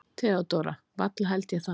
THEODÓRA: Varla held ég það.